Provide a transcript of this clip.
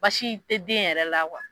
Basi te den yɛrɛ la